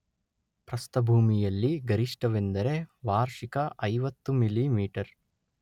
ಪ್ರಸ್ಥಭೂಮಿಯಲ್ಲಿ ಗರಿಷ್ಠವೆಂದರೆ ವಾರ್ಷಿಕ ಐವತ್ತು ಮಿಲಿಮೀಟರ್